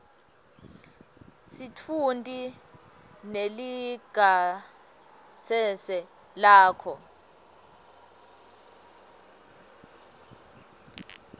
sitfunti nelingasese lakho